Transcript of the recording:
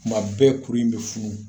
Tuma bɛɛ kuru in bɛ funu